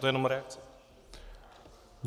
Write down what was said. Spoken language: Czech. To je jenom reakce.